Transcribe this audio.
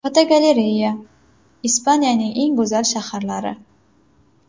Fotogalereya: Ispaniyaning eng go‘zal shaharlari.